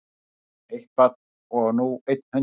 Eitt barn og nú einn hundur